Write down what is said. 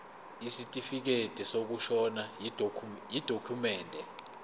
isitifikedi sokushona yidokhumende